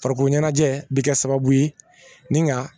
Farikolo ɲɛnajɛ bi kɛ sababu ye nga